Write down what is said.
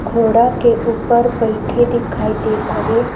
घोड़ा के ऊपर बइठे दिखाई देत हवे।